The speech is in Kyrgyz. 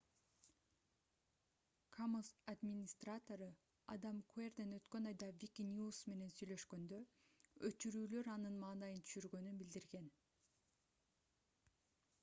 commons администратору адам куэрден өткөн айда wikinews менен сүйлөшкөндө өчүрүүлөр анын маанайын түшүргөнүн билдирген